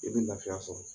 I bɛ lafiya sɔrɔ